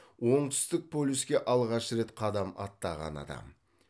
оңтүстік полюске алғаш рет қадам аттаған адам